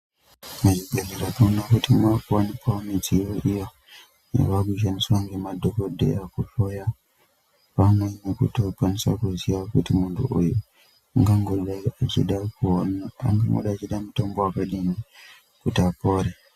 Muzvibhedhlera tinoona kuti makuwanikwawo mudziyo iyo yavakushandiswa nemadhokodheya kuhloya vamweni kuti vakwanise kuziya kuti muntu uyu ungangodai achida kuone ungangodai achida mutombo wakadini kuti apore.